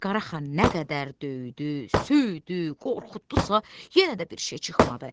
Qaraxan nə qədər döydü, söydü, qorxutdusa, yenə də bir şey çıxmadı.